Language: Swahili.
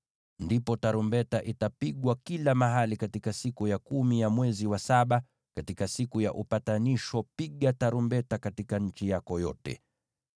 Ndipo tarumbeta itapigwa kila mahali katika siku ya kumi ya mwezi wa saba. Katika Siku ya Upatanisho, piga tarumbeta katika nchi yako yote.